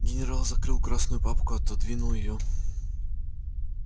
генерал закрыл красную папку отодвинул её